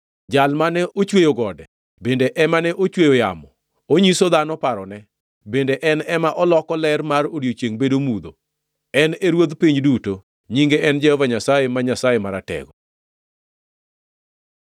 Jal mane ochweyo gode bende ema nochweyo yamo, onyiso dhano parone, bende en ema oloko ler mar odiechiengʼ bedo mudho, en e ruodh piny duto; nyinge en Jehova Nyasaye, ma Nyasaye Maratego.